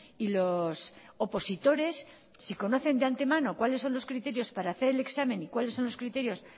y los opositores si conocen de antemano cuáles son los criterios para hacer el examen y cuáles son los criterios